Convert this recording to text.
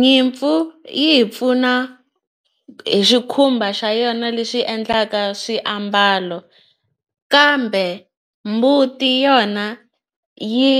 Nyimpfu yi hi pfuna hi xikhumba xa yona lexi endlaka swiambalo kambe mbuti yona yi